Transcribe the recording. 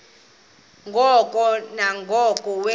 ngoko nangoko wenziwa